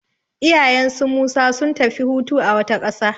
Iyayen su Musa sun tafi hutu a wata ƙasa.